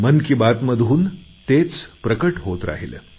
मन की बात मधून तेच प्रकट होत राहिले